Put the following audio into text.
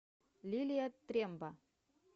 лилия тремба